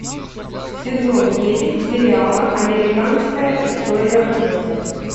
сезон девять сериала американская история ужасов